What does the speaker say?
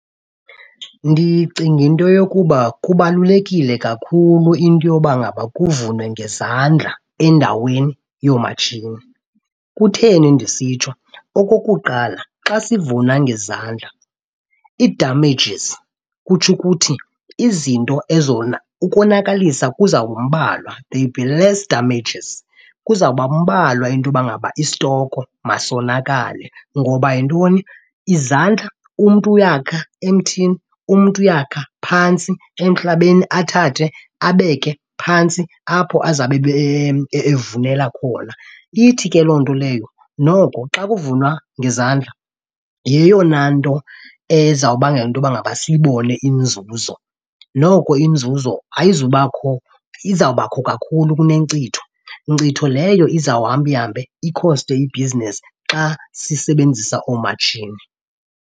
Ndicinga into yokuba kubalulekile kakhulu into yoba ngaba kuvunwe ngezandla endaweni yoomatshini. Kutheni ndisitsho? Okokuqala, xa sivuna ngezandla ii-damages, kutsho ukuthi izinto , ukonakalisa kuzawuba mbalwa, there will be less damages. Kuzawuba mbalwa into yoba ngaba istoko masonakale. Ngoba yintoni? Izandla, umntu uyakha emthini, umntu uyakha phantsi emhlabeni, athathe abeke phantsi apho azabe evunela khona. Ithi ke loo nto leyo noko xa kuvunwa ngezandla yeyona nto ezawubangela into yoba ngaba siyibone inzuzo. Noko inzuzo ayizubakho, izawubakho kakhulu kunenkcitho, nkcitho leyo izawuhamba ihambe ikhoste ibhizinesi xa sisebenzisa oomatshini.